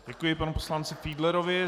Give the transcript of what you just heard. Děkuji panu poslanci Fiedlerovi.